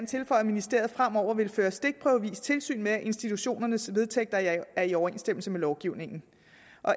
tilføje at ministeriet fremover vil føre stikprøvevis tilsyn med at institutionernes vedtægter er i overensstemmelse med lovgivningen